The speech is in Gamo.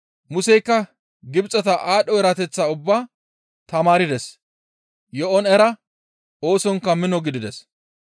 Museykka Gibxeta aadho erateththaa ubbaa tamaardes; Yo7on era; oosonkka mino gidides.